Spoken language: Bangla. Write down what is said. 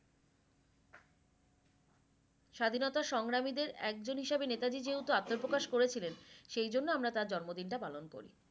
স্বাধীনতার সংগ্রামীদের একজন হিসেবে নেতাজী যেহেতু আত্মপ্রকাশ করেছিলেন সে জন্য আমরা তার জন্মদিনটা পালন করি